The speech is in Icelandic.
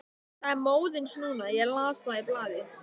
Það er móðins núna, ég las það í blaði.